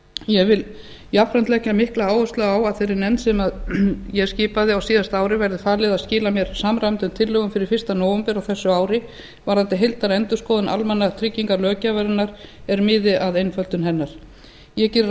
ég vil jafnframt leggja mikla áherslu á að þeirri nefnd sem ég skipaði á síðasta ári verði falið að skila mér samræmdum tillögum fyrir fyrsta nóvember á þessu ári varðandi heildarendurskoðun almannatryggingalöggjafarinnar er miði að einföldun hennar ég geri